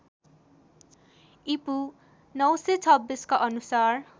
ईपू ९२६ का अनुसार